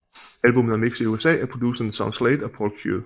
Albummet er mixet i USA af producerne Sean Slade og Paul Q